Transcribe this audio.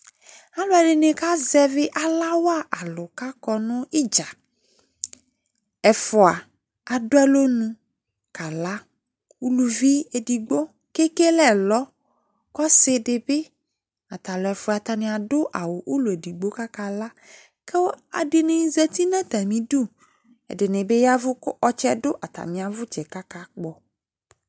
Alʋɛdɩnɩ kazɛvɩ ala wa alʋ kʋ akɔ nʋ ɩdza Ɛfʋa adʋ alɔnu kala Uluvi edigbo kʋ ekele ɛlɔ kʋ ɔsɩ dɩ bɩ ata alʋ ɛfʋa Atanɩ adʋ awʋ ʋlɔ edigbo kʋ akala kʋ ɛdɩnɩ zati nʋ atamɩdu, ɛdɩnɩ bɩ yavʋ kʋ ɔtsɛ dʋ atamɩ awʋtsɛ kʋ akakpɔ